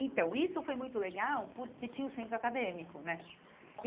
Então, isso foi muito legal porque tinha o centro acadêmico, né?